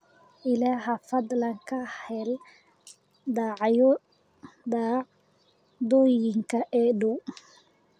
alexa fadlan ka hel dhacdooyinka ii dhow